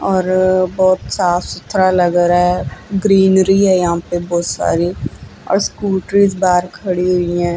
और अ बहुत साफ सुथरा लग रहा है ग्रीनरी है यहां पे बहुत सारी और स्कूटरीज बाहर खड़ी हुई हैं।